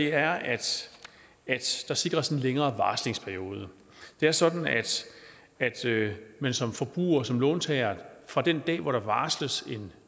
er at der sikres en længere varslingsperiode det er sådan at man som forbruger som låntager fra den dag hvor der varsles en